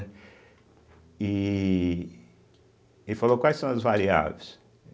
E ele falou, quais são as variáveis?